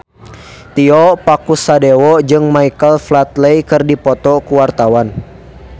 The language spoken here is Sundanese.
Tio Pakusadewo jeung Michael Flatley keur dipoto ku wartawan